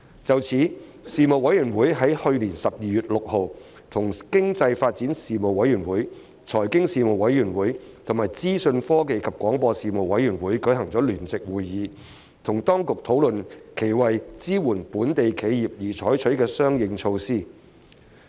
就此，事務委員會於去年12月6日與經濟發展事務委員會、財經事務委員會和資訊科技及廣播事務委員會舉行聯席會議，與當局討論其為支援本地企業而採取的相應措施。